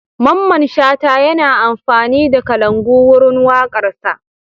Mamman Shata yana amfani da kalangu wurin waƙarsa.